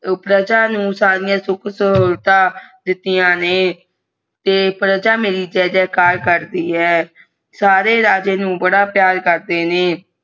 ਪ੍ਰਜਾ ਨੂੰ ਸਾਰੀ ਸੁਖ ਸੁਵਿਧਾ ਦਿਤ੍ਯ ਨੇ ਪ੍ਰਜਾ ਮੇਰੀ ਜੇ ਜੇ ਕਰ ਕਰਤੀ ਹੈ ਸਾਰੇ ਰਾਜਾ ਨੂੰ ਬੜਾ ਪਿਆਰ ਕਰਦਾ